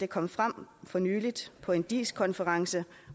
kom frem for nylig på en diis konference